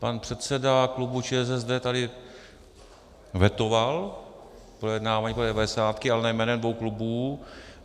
Pan předseda klubu ČSSD tady vetoval projednávání té devadesátky, ale ne jménem dvou klubů.